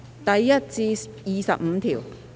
第1至25條。